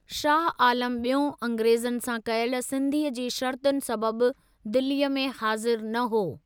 शाह आलम ॿियों अंग्रेज़नि सां कयल संधिअ जी शर्तुनि सबबि दिल्लीअ में हाज़िर न हो।